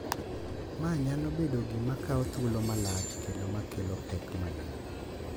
Ma nyalo bedo gima kawo thuolo malach kendo ma kelo pek mang’eny,